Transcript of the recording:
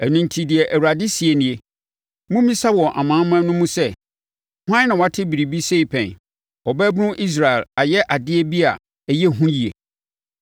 Ɛno enti deɛ Awurade seɛ nie, “Mommisa wɔ amanaman no mu sɛ, hwan na wate biribi sɛi pɛn? Ɔbaabunu Israel ayɛ adeɛ bi a ɛyɛ hu yie.